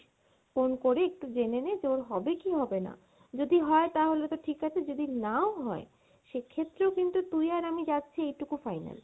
phone করে একটু জেনে নে যে ওর হবে কী হবে না, যদি হয় তাহলে তো ঠিক আছে যদি না ও হয় সেক্ষেত্রেও কিন্তু তুই আর আমি যাচ্ছি এইটুকু final